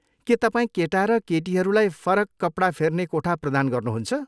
के तपाईँ केटा र केटीहरूलाई फरक कपडा फेर्ने कोठा प्रदान गर्नुहुन्छ?